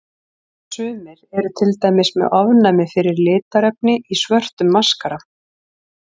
Sumir eru til dæmis með ofnæmi fyrir litarefni í svörtum maskara.